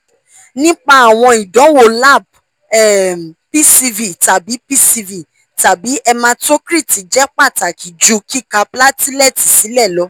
nipa awọn idanwo lab - um pcv tabi pcv tabi hematocrit jẹ pataki ju kika platelet silẹ lọ